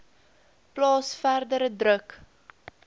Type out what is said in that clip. plaas verdere druk